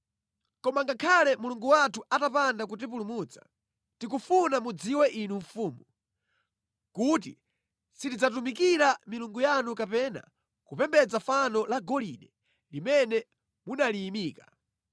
Koma ngakhale Mulungu wathu atapanda kutipulumutsa, tikufuna mudziwe inu mfumu, kuti sitidzatumikira milungu yanu kapena kupembedza fano la golide limene munaliyimika.”